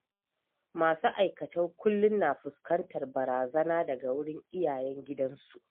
Masu aikatau kullum na fuskantar barazana daga wurin iyayen gidansu.